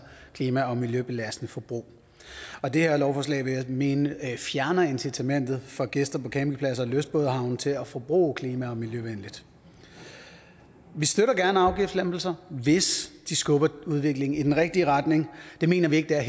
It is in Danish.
klima og miljøbelastende forbrug og det her lovforslag vil jeg mene fjerner incitamentet for gæster på campingpladser og i lystbådehavne til at forbruge klima og miljøvenligt vi støtter gerne afgiftslempelser hvis de skubber udviklingen i den rigtige retning det mener vi ikke der er